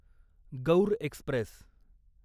Gaur Express